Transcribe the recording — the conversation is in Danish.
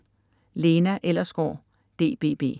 Lena Ellersgaard, DBB